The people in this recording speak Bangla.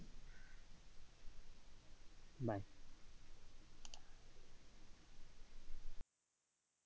Bye,